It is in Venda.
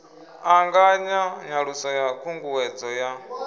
ṱanganya nyaluso ya khunguwedzo ya